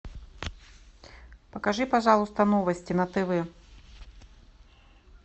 покажи пожалуйста новости на тв